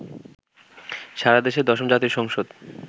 সারাদেশে দশম জাতীয় সংসদ